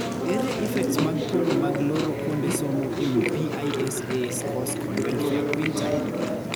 Ere effects mag pogo mag loro kuonde somo ewii PISA scores kod welfare quintile?